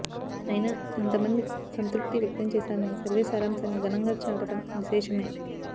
అయినా అంత మంది సంతృప్తి వ్యక్తం చేశారని సర్వే సారాంశాన్ని ఘనంగా చాటడం విశేషమే